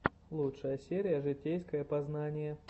лучшая серия житейское познание